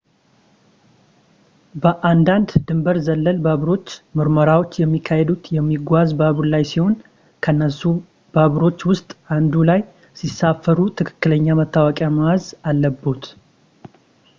በአንዳንድ ድንበር ዘለል ባቡሮች ምርመራዎች የሚካሄዱት የሚጓዝ ባቡር ላይ ሲሆን ከነሱ ባቡሮች ውስጥ አንዱ ላይ ሲሳፈሩ ትክክለኛ መታወቂያ መያዝ አለብዎት